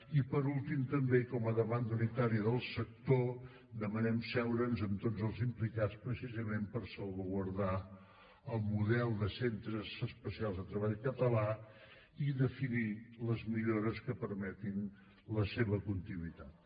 i per últim també i com a demanda unitària del sector demanem asseure’ns amb tots els implicats precisament per salvaguardar el model de centres especials de treball català i definir les millores que permetin la seva continuïtat